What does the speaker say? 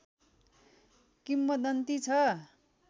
किम्वदन्ती छ